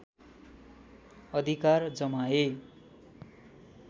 अधिकार जमाए